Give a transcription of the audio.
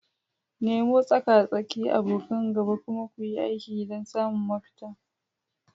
Nemo tsaka-tsaki, abokan gaba, kuma kuyi aiki don samun mafita.